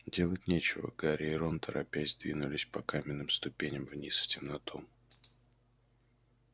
делать нечего гарри и рон торопясь двинулись по каменным ступеням вниз в темноту